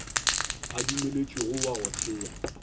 a dumeletšwego wa go thea